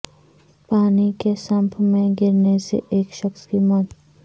پانی کے سمپ میں گرنے سے ایک شخص کی موت